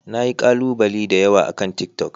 Na yi kalubale da yawa akan tiktok.